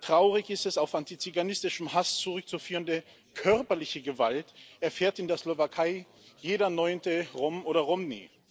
Traurig ist es auf antiziganistischen Hass zurückzuführende körperliche Gewalt erfährt in der Slowakei jeder neunte Rom oder Romni.